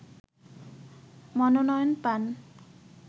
মনোনয়ন পান